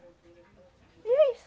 E é isso.